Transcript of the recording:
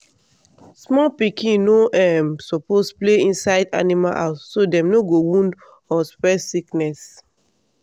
small pikin no um suppose play inside animal house so dem no go wound or spread sickness